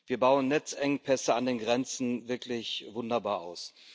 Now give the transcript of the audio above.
Wir bauen Netzengpässe an den Grenzen wirklich wunderbar aus.